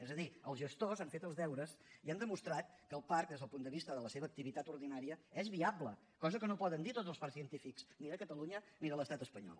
és a dir els gestors han fet els deures i han demostrat que el parc des del punt de vista de la seva activitat ordinària és viable cosa que no poden dir tots els parcs científics ni de catalunya ni de l’estat espanyol